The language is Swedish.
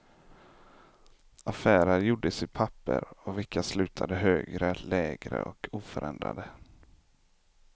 Affärer gjordes i papper av vilka slutade högre, lägre och oförändrade.